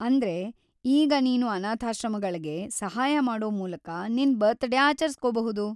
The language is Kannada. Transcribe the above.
ಅಂದ್ರೆ, ಈಗ ನೀನು ಅನಾಥಾಶ್ರಮಗಳ್ಗೆ ಸಹಾಯ ಮಾಡೋ ಮೂಲಕ ನಿನ್ ಬರ್ತಡೇ ಆಚರ್ಸ್ಕೋಬಹುದು.